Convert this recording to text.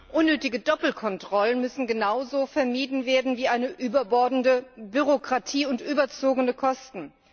Unnötige Doppelkontrollen müssen genauso vermieden werden wie eine überbordende Bürokratie und überzogene Kosten.